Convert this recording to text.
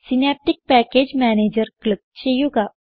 synaptic package manager click ചെയ്യുക